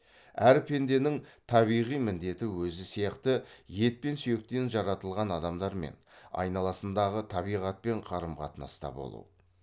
әр пенденің табиғи міндеті өзі сияқты ет пен сүйектен жаратылған адамдармен айналасындағы табиғатпен қарым қатынаста болу